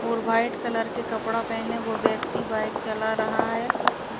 और white colour के कपड़ा पहने वो व्यक्ति बाइक चला रहा है --